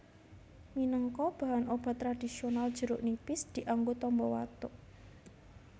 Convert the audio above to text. Minangka bahan obat tradhisional jeruk nipis dianggo tamba watuk